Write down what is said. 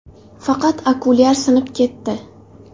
Faqat okulyar sinib ketdi.